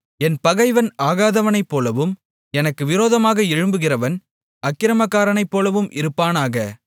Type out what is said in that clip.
என் பகைவன் ஆகாதவனைப்போலவும் எனக்கு விரோதமாக எழும்புகிறவன் அக்கிரமக்காரனைப்போலவும் இருப்பானாக